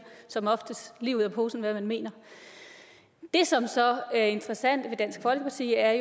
som oftest lige ud af posen hvad man mener det som så er interessant ved dansk folkeparti er